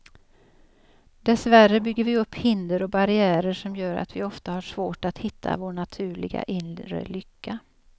Dessvärre bygger vi upp hinder och barriärer som gör att vi ofta har svårt att hitta vår naturliga, inre lycka.